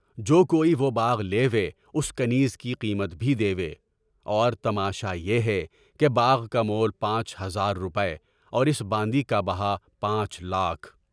جو کوئی وہ باغ لے وے، اُس کی قیمت بھی دے وے، اور تماشا یہ ہے کہ باغ کا مول پانچ ہزار روپے اور اس باندھی کا بہا پانچ لاکھ۔